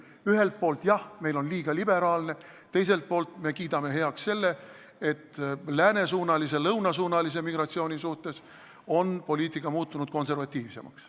Ühelt poolt jah, meil on suhtumine liiga liberaalne, teiselt poolt me kiidame heaks selle, et läänesuunalise ja lõunasuunalise migratsiooni suhtes on poliitika muutunud konservatiivsemaks.